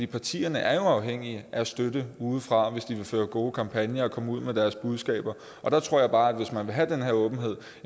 partierne er jo afhængige af støtte udefra hvis de vil føre gode kampagner og komme ud med deres budskaber og der tror jeg bare at hvis man vil have den her åbenhed